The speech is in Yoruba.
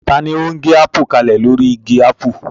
Ta ni ó ń gé ápù kalẹ̀ lórí igi ápù?